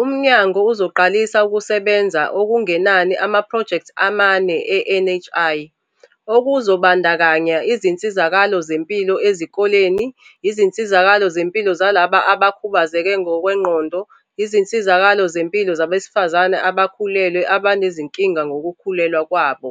umnyango uzoqalisa ukusebenza okungenani amaphrojekthi amane e-NHI, okuzobandakanya izinsizakalo zempilo ezikoleni, izinsizakalo zempilo zalabo abakhubazeke ngokwengqondo, izinsizakalo zempilo zabesifazane abakhulelwe abanezinkinga ngokukhulelwa kwabo.